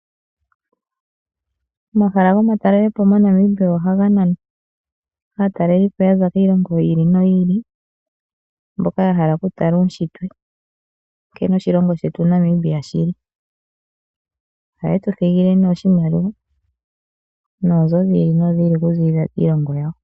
Omahala gomatalele po moNamibia ohaga nana aatalelipo ya za kiilongo yi ili noyi ili mboka ya hala kutala uunshitwe, nkene oshilongo shetu Namibia shi li. Ohaye tu thigile ne oshimaliwa noonzo dhi ili nodhi ili kuziilila kiilongilo yawo.